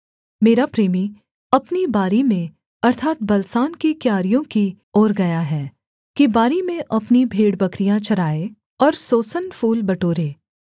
मेरा प्रेमी अपनी बारी में अर्थात् बलसान की क्यारियों की ओर गया है कि बारी में अपनी भेड़बकरियाँ चराए और सोसन फूल बटोरे